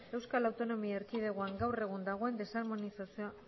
eaen gaur egun dagoen desarmonizazio